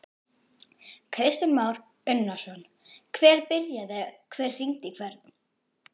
Kristján Már Unnarsson: Hver byrjaði, hver hringdi í hvern?